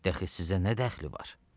De axı sizə nə dəxli var?